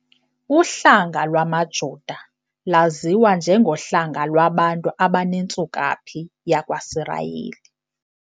Uhlanga lwamaJuda lwaziwa njengohlanga lwabantu abanentsukaphi yakwaSirayeli.